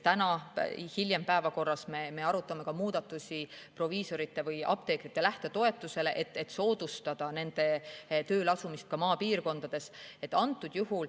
Hiljem täna me arutame ka proviisorite või apteekrite lähtetoetuse muudatusi, et soodustada nende tööleasumist ka maapiirkondades.